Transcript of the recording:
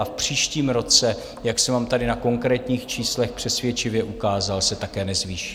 A v příštím roce, jak jsem vám tady na konkrétních číslech přesvědčivě ukázal, se také nezvýší.